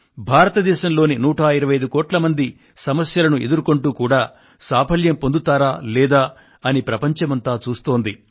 భారతదేశంలోని 125 కోట్ల మంది సమస్యలను ఎదుర్కొంటూ కూడా సాఫల్యం పొందుతారా లేదా అని ప్రపంచమంతా చూస్తోంది